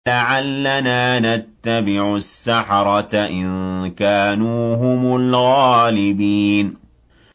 لَعَلَّنَا نَتَّبِعُ السَّحَرَةَ إِن كَانُوا هُمُ الْغَالِبِينَ